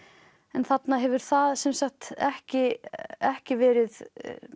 en þarna hefur það ekki ekki verið